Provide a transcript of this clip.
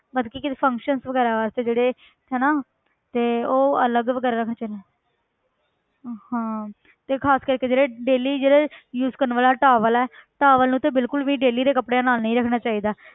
ਮਤਲਬ ਕਿ ਕਿਸੇ functiion ਵਗ਼ੈਰਾ ਵਾਸਤੇ ਜਿਹੜੇ ਹਨਾ ਤੇ ਉਹ ਅਲੱਗ ਵਗ਼ੈਰਾ ਰੱਖਣੇ ਚਾਹੀਦੇ ਹਾਂ ਤੇ ਖ਼ਾਸ ਕਰਕੇ ਜਿਹੜੇ daily ਜਿਹੜੇ use ਕਰਨ ਵਾਲਾ towel ਹੈ towel ਨੂੰ ਤੇ ਬਿਲਕੁਲ ਵੀ daily ਦੇ ਕੱਪੜਿਆਂ ਨਾਲ ਨੀ ਰੱਖਣਾ ਚਾਹੀਦਾ